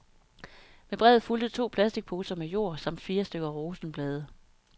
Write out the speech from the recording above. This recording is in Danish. Med brevet fulgte to plasticposer med jord samt fire stykker rosenblade.